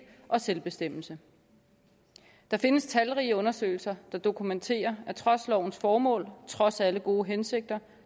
og selvbestemmelse der findes talrige undersøgelser der dokumenterer at trods lovens formål trods alle gode hensigter